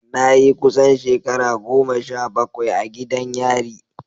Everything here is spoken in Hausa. Na yi kusan shekara goma sha bakwai a gidan yari.